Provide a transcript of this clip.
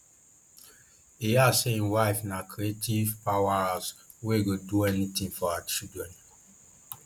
e add say im wife na creative powerhouse wey go do anything for her children